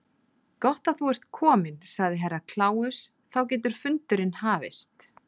Gott að þú ert kominn, sagði Herra Kláus, þá getur fundurinn hafist.